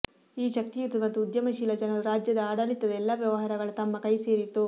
ಈ ಶಕ್ತಿಯುತ ಮತ್ತು ಉದ್ಯಮಶೀಲ ಜನರು ರಾಜ್ಯದ ಆಡಳಿತದ ಎಲ್ಲಾ ವ್ಯವಹಾರಗಳ ತಮ್ಮ ಕೈಸೇರಿತು